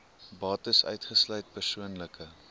bates uitgesluit persoonlike